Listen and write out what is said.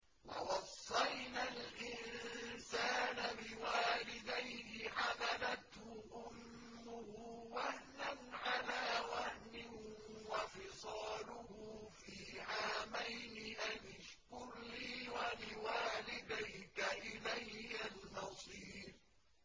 وَوَصَّيْنَا الْإِنسَانَ بِوَالِدَيْهِ حَمَلَتْهُ أُمُّهُ وَهْنًا عَلَىٰ وَهْنٍ وَفِصَالُهُ فِي عَامَيْنِ أَنِ اشْكُرْ لِي وَلِوَالِدَيْكَ إِلَيَّ الْمَصِيرُ